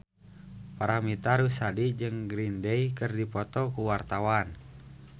Paramitha Rusady jeung Green Day keur dipoto ku wartawan